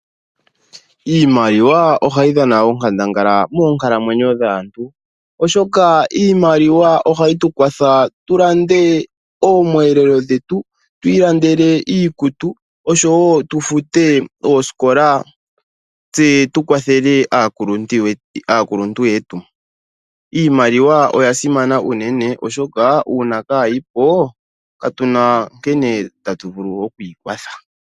Iimaliwa ohayi dhana onkandangala moonkalamwenyo dhaantu oshoka iimaliwa ohayi tukwatha tulande oomwelelo dhetu, tu ilandele iikutu oshowo tufute oosikola tse tukwathele aakuluntu yetu. Iimaliwa oyasimana unene oshoka uuna kayi po, katuna nkene tatuvulu okwikwatha.